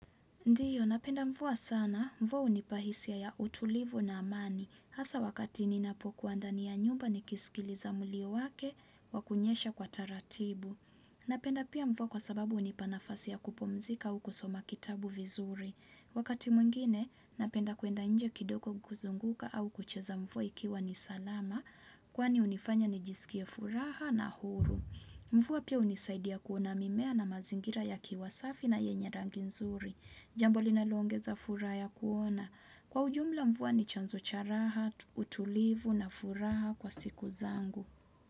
Ndiyo, napenda mvua sana, mvua hunipahisia ya utulivu na amani, hasa wakati ninapokuwa ndani ya nyumba ni kisikiliza mlio wake wakunyesha kwa taratibu. Napenda pia mvua kwa sababu hunipanafasi yakupumzika au kusoma kitabu vizuri. Wakati mwingine, napenda kwenda nje kidogo kuzunguka au kucheza mvua ikiwa nisalama, kwani hunifanya nijisikie furaha na huru. Mvua pia hunisaidia kuona mimea na mazingira ya kiwasafi na yenye ranginzuri. Jambo linaloongeza furahaya kuona. Kwa ujumla mvua ni chanzo charaha, utulivu na furaha kwa siku zangu.